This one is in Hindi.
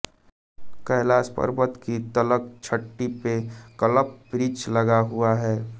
कैलाश पर्वत की तलछटी में कल्पवृक्ष लगा हुआ है